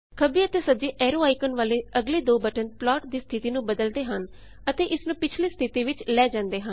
ਖੱਬੇ ਅਤੇ ਸੱਜੇ ਐਰੋ ਆਈਕੋਨ ਵਾਲੇ ਅਗਲੇ ਦੋ ਬਟਨ ਪਲਾਟ ਦੀ ਸਥਿੱਤੀ ਨੂੰ ਬਦਲਦੇ ਹਨ ਅਤੇ ਇਸਨੂੰ ਪਿੱਛਲੀ ਸਥਿਤੀ ਵਿੱਚ ਲੈ ਜਾਂਦੇ ਹਨ